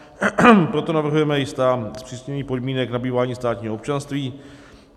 Proto navrhujeme jistá zpřísnění podmínek nabývání státního občanství.